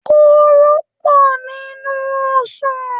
koro pọ nínú ọsán.